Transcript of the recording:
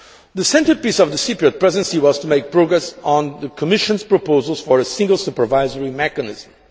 The centrepiece of the Cyprus Presidency was to make progress on the Commission's proposals for a Single Supervisory Mechanism.